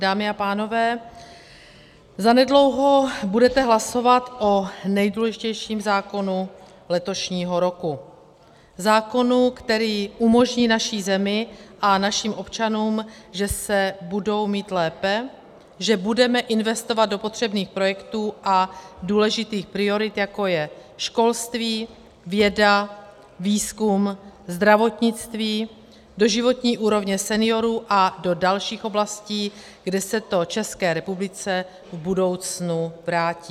Dámy a pánové, zanedlouho budete hlasovat o nejdůležitějším zákonu letošního roku, zákonu, který umožní naší zemi a našim občanům, že se budou mít lépe, že budeme investovat do potřebných projektů a důležitých priorit, jako je školství, věda, výzkum, zdravotnictví, do životní úrovně seniorů a do dalších oblastí, kde se to České republice v budoucnu vrátí.